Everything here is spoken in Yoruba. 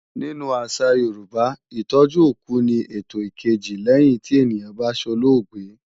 Nínú àṣà Yorùbá, Ìtọ́jú òkú ni ètò ìkejì lẹ́yìn tí ènìyàn bá solóògbé